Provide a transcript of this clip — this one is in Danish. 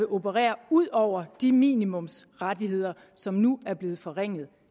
operere ud over de minimumsrettigheder som nu bliver forringet